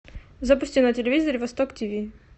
запусти на телевизоре восток тиви